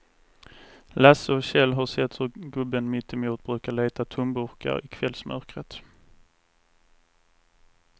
Lasse och Kjell har sett hur gubben mittemot brukar leta tomburkar i kvällsmörkret.